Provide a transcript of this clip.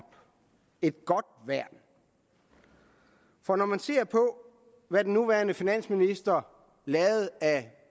et godt værn for når man ser på hvad den nuværende finansminister lavede af